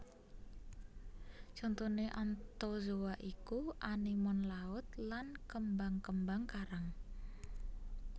Contoné Anthozoa iku Anemon llaut lan kembang kembang karang